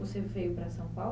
Você veio para São